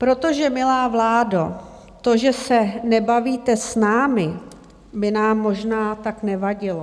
Protože milá vládo to, že se nebavíte s námi, by nám možná tak nevadilo.